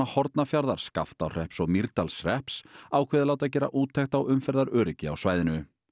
Hornafjarðar Skaftárhrepps og Mýrdalshrepps ákveðið að láta gera úttekt á umferðaröryggi á svæðinu